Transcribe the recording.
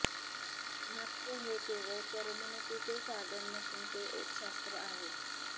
नाट्य हे केवळ करमणुकीचे साधन नसून ते एक शास्त्र आहे